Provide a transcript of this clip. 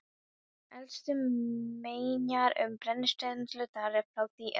Elstu menjar um brennisteinsvinnslu þar eru frá því um